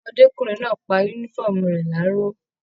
Ọmọdékunrin náà pá yúnífọ̀ọ́mù rẹ laró.